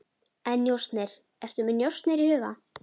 En njósnir, ertu með njósnir í huga?